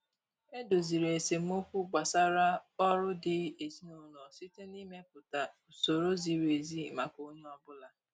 E doziri esemokwu gbasara ọrụ di ezin'ụlọ site na-ịmepụta usoro ziri ezi maka onye ọbụla.